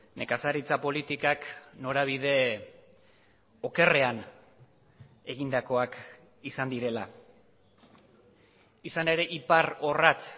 nekazaritza politikak norabide okerrean egindakoak izan direla izan ere iparrorratz